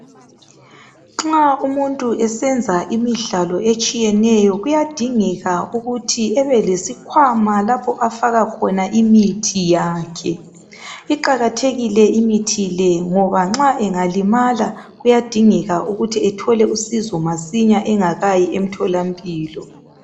Nxa umuntu esenza imidlalo etshiyeneyo kuyadingeka ukuthi ebelesikwama lapho afaka khona imithi yakhe iqakathekile imithi le ngoba nxa engalima kuyadingeka ukuthi ethole usizo masinyane engakayi emthola mpilo .